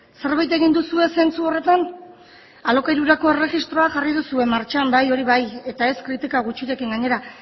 zerbait egin duzue zentzu horretan alokairurako erregistroa jarri duzue martxan bai hori bai eta ez kritika gutxirekin gainera